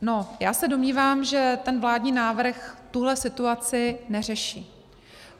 No, já se domnívám, že ten vládní návrh tuhle situaci neřeší.